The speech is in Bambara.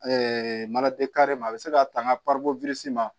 a bɛ se ka tanga